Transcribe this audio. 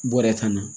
Bɔrɛ tan na